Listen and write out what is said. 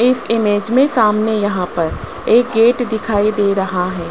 इस इमेज में सामने यहां पर एक गेट दिखाई दे रहा है